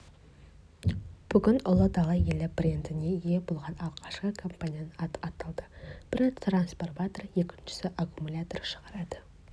бүгін ұлы дала елі брендіне ие болған алғашқы компанияның аты аталды бірі трансформатор екіншісі аккумулятор шығарады